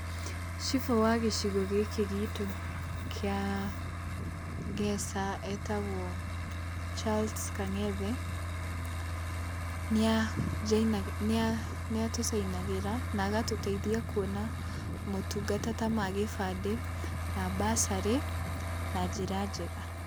Cibũ wa gĩcigo gĩkĩ gitũ kĩa Ngeca etagwo Charles Kang'ethe, nĩa njainagĩra, nĩa tũcainagĩra na agatũteithia kũona motungata ta ma gĩbandĩ na mbacarĩ na njĩra njega.